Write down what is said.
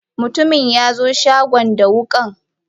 Mutumin yaxo shagon da wukan